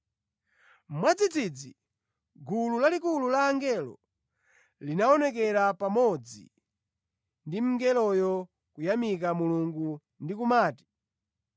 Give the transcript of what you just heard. Mwadzidzidzi gulu lalikulu la angelo linaonekera pamodzi ndi mngeloyo, kuyamika Mulungu ndi kumati,